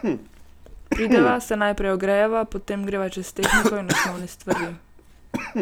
Prideva, se najprej ogrejeva, potem greva čez tehniko in osnovne stvari.